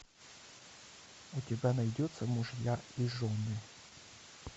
у тебя найдется мужья и жены